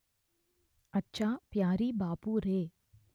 అచ్చా ప్యారీ బాపురే